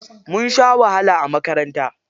Mun sha wahala a makaranta.